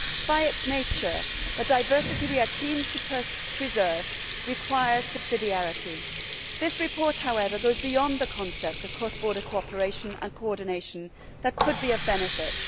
By its nature, the diversity we are keen to preserve requires subsidiarity. This report, however, goes beyond the concept of cross border cooperation and coordination that could be of benefit.